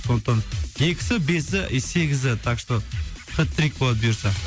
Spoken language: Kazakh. сондықтан екісі бесі и сегізі так что хет трик болады бұйырса